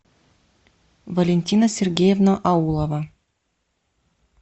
валентина сергеевна аулова